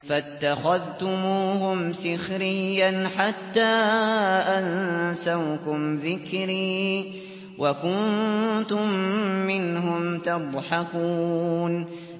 فَاتَّخَذْتُمُوهُمْ سِخْرِيًّا حَتَّىٰ أَنسَوْكُمْ ذِكْرِي وَكُنتُم مِّنْهُمْ تَضْحَكُونَ